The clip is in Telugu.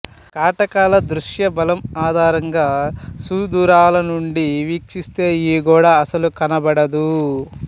కటకాల దృశ్యబలం ఆధారంగా సుదూరాలనుండి వీక్షిస్తే ఈ గోడ అస్సలు కనబడదు